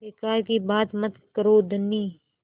बेकार की बात मत करो धनी